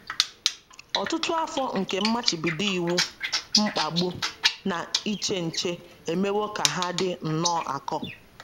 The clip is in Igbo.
Ọtụtụ afọ nke mmachibido iwu, mkpagbu, na iche nche emewo ka ha dị nnọọ akọ.